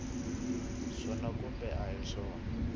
swona kumbe a hi swona